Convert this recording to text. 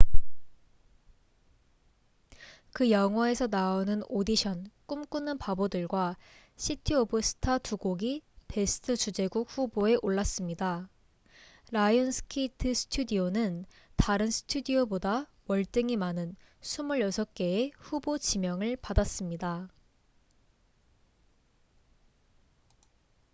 그 영화에서 나오는 오디션꿈꾸는 바보들과 시티 오브 스타 두 곡이 베스트 주제곡 후보에 올랐습니다. 라이온스게이트 스튜디오는 다른 스튜디오보다 월등히 많은 26개의 후보 지명을 받았습니다